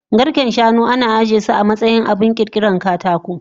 Garken shanu ana ajiyesu amatsayin abun kirkiran katako